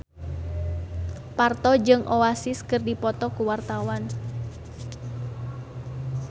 Parto jeung Oasis keur dipoto ku wartawan